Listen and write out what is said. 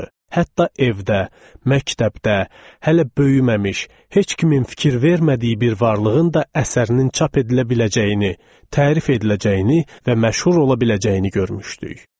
Hətta evdə, məktəbdə, hələ böyüməmiş, heç kimin fikir vermədiyi bir varlığın da əsərinin çap edilə biləcəyini, tərif ediləcəyini və məşhur ola biləcəyini görmüşdük.